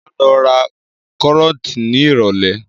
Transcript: Máa lọ ra kárọ̀tì ní ìrólé